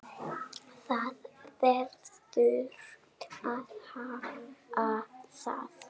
Það verður að hafa það.